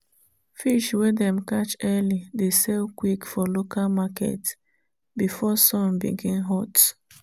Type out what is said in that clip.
fish wey dem catch early dey sell quick for local market before sun begin hot.